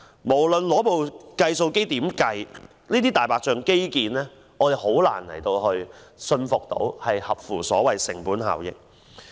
無論怎樣計算，我們難以相信這些"大白象"基建工程合乎成本效益。